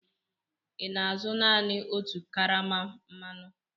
ị na-azụ naanị otu karama mmanụ?